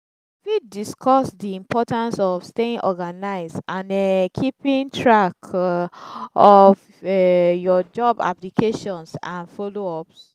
fit discuss di importance of staying organized and um keeping track of um your job applications and follow-ups.